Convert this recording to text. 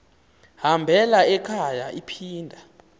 hambela ekhaya iphinda